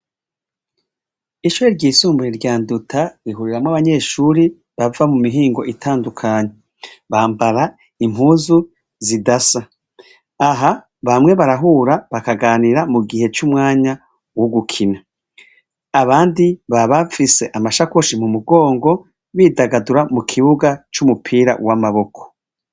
ishure ry'isumbuye rya nduta rihuriramwo abanyeshuri bava mu mihingo itandukanye bambara impuzu zidasa aha bamwe barahura bakaganira mu gihe c'umwanya wo gukina abandi baba bafise amashakoshi mu mugongo bidagadura mu kibuga c'umupira w'amaboko